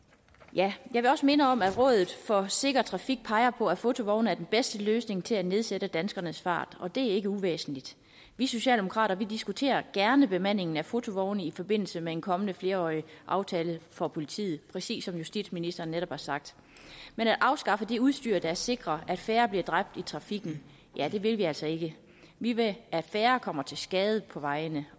jeg vil også minde om at rådet for sikker trafik peger på at fotovogne er den bedste løsning til at nedsætte danskernes fart og det er ikke uvæsentligt vi socialdemokrater diskuterer gerne bemandingen af fotovogne i forbindelse med en kommende flerårig aftale for politiet præcis som justitsministeren netop har sagt men at afskaffe det udstyr der sikrer at færre bliver dræbt i trafikken vil vi altså ikke vi vil at færre kommer til skade på vejene